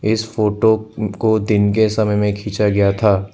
इस फोटो को दिन के समय में खींचा गया था।